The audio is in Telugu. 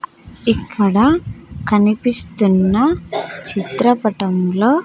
ఇక్కడ కనిపిస్తున్న చిత్రపటంలో--